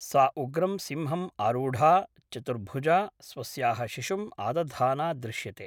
सा उग्रं सिंहम् आरूढा, चतुर्भुजा, स्वस्याः शिशुम् आदधाना दृश्यते।